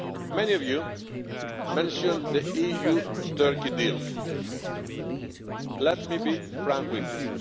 Many of you mentioned the EU Turkey deal. Let me be frank with